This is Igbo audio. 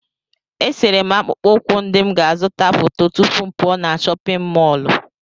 Esere m akpụkpọ ụkwụ ndị m ga-azụta foto tupu m pụọ na chọpịn mọọlụ.